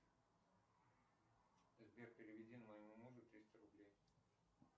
сбер переведи моему мужу триста рублей